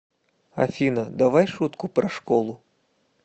афина давай шутку про школу